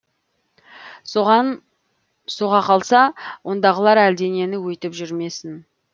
соған соға қалса ондағылар әлденені өйтіп жүрмесін